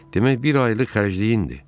Demək, bir aylıq xərcliyindir.